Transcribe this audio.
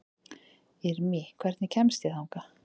Irmý, hvernig kemst ég þangað?